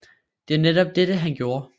Det var netop dette han gjorde